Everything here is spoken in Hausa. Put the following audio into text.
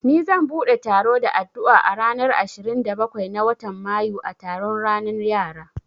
Ni zan bude taro da addu'a a ranar ashirin da bakwai na watan mayu a taron ranan yara